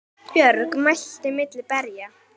Björg mælti milli berja